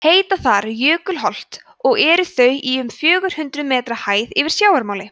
heita þar jökulholt og eru þau í um fjögur hundruð metra hæð yfir sjávarmáli